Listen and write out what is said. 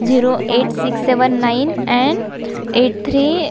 zero eight six seven nine and eight three --